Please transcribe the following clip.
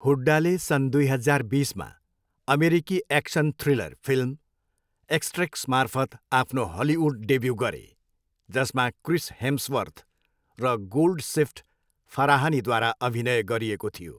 हुड्डाले सन् दुई हजार बिसमा अमेरिकी एक्सन थ्रिलर फिल्म एक्स्ट्रेक्समार्फत आफ्नो हलिउड डेब्यु गरे, जसमा क्रिस हेम्सवर्थ र गोल्डसिफ्ट फराहानीद्वारा अभिनय गरिएको थियो।